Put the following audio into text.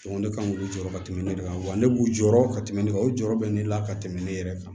Ko ne kan k'u jɔyɔrɔ ka tɛmɛ ne kan wa ne b'u jɔyɔrɔ ka tɛmɛ ne kan o jɔyɔrɔ bɛ ne la ka tɛmɛ ne yɛrɛ kan